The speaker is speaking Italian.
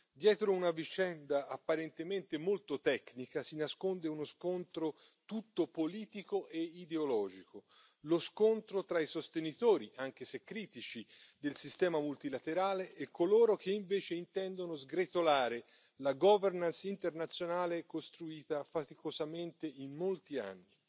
Dietro una vicenda apparentemente molto tecnica si nasconde uno scontro tutto politico e ideologico lo scontro tra i sostenitori, anche se critici, del sistema multilaterale e coloro che invece intendono sgretolare la governance internazionale costruita faticosamente in molti anni.